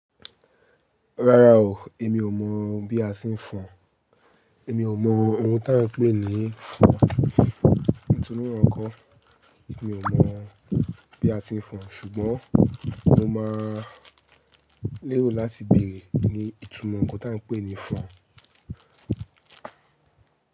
Rárá o, èmi ò mọ̀ bí a ti ń fọn. Èmi ò mọ̀ ohun tí à ń pè ní fọn. Ìtùnú ọkọ̀, èmi ò mọ̀ bí a ti ń fọn, ṣùgbọ́n mo máa lérò láti bèrè ní ìtumọ̀ ohun tí à ń pè ní fọn.